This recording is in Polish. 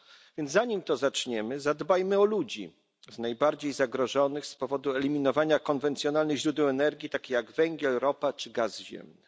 więc zanim to zaczniemy, zadbajmy o ludzi najbardziej zagrożonych z powodu eliminowania konwencjonalnych źródeł energii takich jak węgiel, ropa czy gaz ziemny.